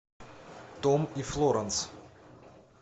том и флоранс